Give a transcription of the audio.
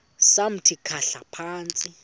samthi khahla phantsi